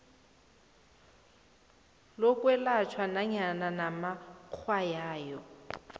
lokwelatjhwa nanyana banamatshwayo